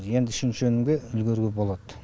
енді үшінші өнімге үлгеруге болады